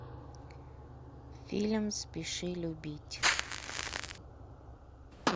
фильм спеши любить